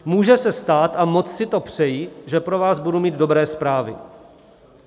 Může se stát - a moc si to přeji - že pro vás budu mít dobré zprávy.